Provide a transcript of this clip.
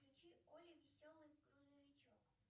включи олли веселый грузовичок